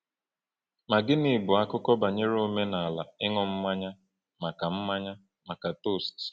Ma gịnị bụ akụkọ banyere omenala ịṅụ mmanya maka mmanya maka toast?